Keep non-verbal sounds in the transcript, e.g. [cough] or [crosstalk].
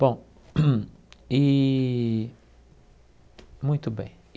Bom, [coughs] e muito bem.